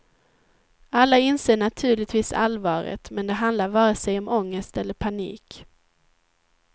Alla inser naturligtvis allvaret, men det handlar vare sig om ångest eller panik.